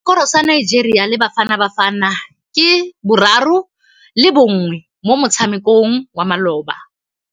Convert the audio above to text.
Sekôrô sa Nigeria le Bafanabafana ke 3-1 mo motshamekong wa malôba.